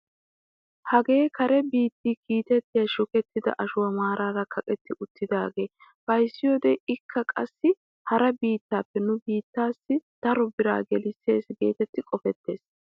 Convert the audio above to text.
Hagee kare biitti kiitettiyaa shukettida ashuwaa maarara kaqetti uttidagaa beesiyoode ikka qassi hara biittaape nu biittaasi daro biraa gelissees getetti qofettees.